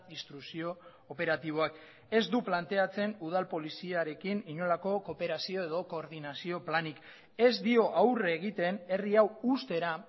instrukzio operatiboak ez du planteatzen udal poliziarekin inolako kooperazio edo koordinazio planik ez dio aurre egiten herri hau ustera